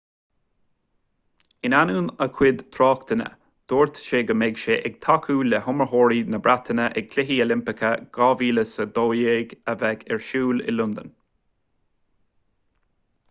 in ainneoin a chuid tráchtanna dúirt sé go mbeidh sé ag tacú le hiomaitheoirí na breataine ag cluichí oilimpeacha 2012 a bheidh ar siúl i londain